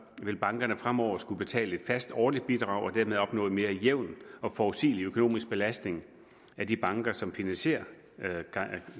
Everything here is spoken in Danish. vil bankerne fremover skulle betale et fast årligt bidrag og dermed opnå en mere jævn og forudsigelig økonomisk belastning af de banker som finansierer